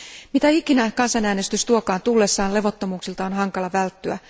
Mitä ikinä kansanäänestys tuokaan tullessaan, levottomuuksilta on hankala välttyä.